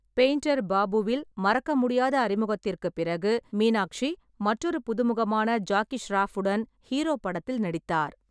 Painter பாபுவில் மறக்க முடியாத அறிமுகத்திற்குப் பிறகு, மீனாட்சி மற்றொரு புதுமுகமான ஜாக்கி ஷெராஃப் உடன் ஹீரோ படத்தில் நடித்தார்.